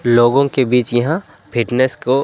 लोगों के बीच यहां फिटनेस को--